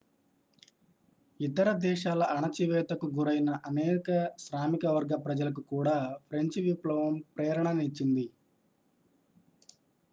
ఇతర దేశాల అణచివేతకు గురైన అనేక శ్రామిక వర్గ ప్రజలకు కూడా ఫ్రెంచి విప్లవం ప్రేరణ నిచ్చింది